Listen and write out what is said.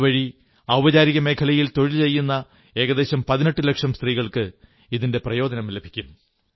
ഇതുവഴി ഔപചാരിക മേഖലയിൽ തൊഴിൽ ചെയ്യുന്ന ഏകദേശം 18 ലക്ഷം സ്ത്രീകൾക്ക് ഇതിന്റെ പ്രയോജനം ലഭിക്കും